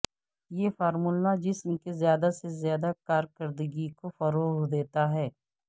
یہ فارمولا جسم کے زیادہ سے زیادہ کارکردگی کو فروغ دیتا ہے